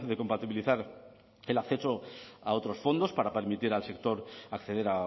compatibilizar el acceso a otros fondos para permitir al sector acceder